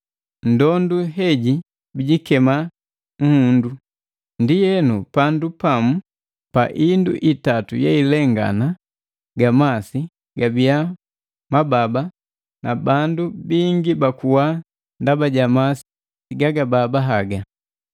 Ndondu heji bijikema nhundu. Ndienu pandu pamu pa indu itatu yeilengana ga masi gabia mababa na bandu bingi bakuwa ndaba ja masi gagababa haga.